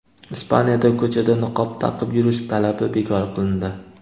Ispaniyada ko‘chada niqob taqib yurish talabi bekor qilindi.